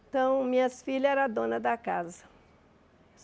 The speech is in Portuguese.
Então, minhas filhas eram donas da casa.